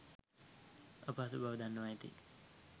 අපහසු බව දන්වා ඇත.